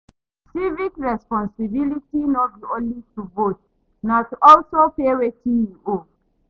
Civic responsibility no be only to vote, na to also pay wetin you owe.